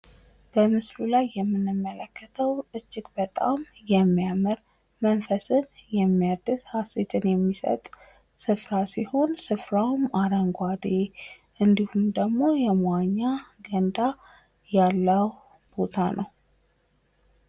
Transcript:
በምስሉ ላይ እንደምንመለከተው እጅግ በጣም የሚያምር፣ መንፈስን የሚያድስ፣ ሃሴትን የሚሰጥ ስፍራ ሲሆን፤ ስፍራውም አረንጓዴ እና የመዋኛ ገንዳ ያለው ስፍራ ነው።